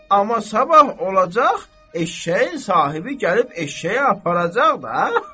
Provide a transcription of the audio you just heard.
Amma sabah olacaq, eşşəyin sahibi gəlib eşşəyi aparacaq da.